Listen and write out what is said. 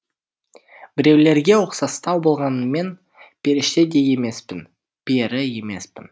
біреулерге ұқсастау болғаныммен періште де емеспін пері емеспін